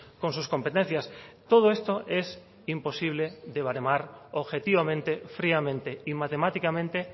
con sus competencias todo esto es imposible de baremar objetivamente fríamente y matemáticamente